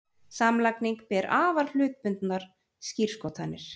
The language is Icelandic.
Samlagning ber afar hlutbundnar skírskotanir.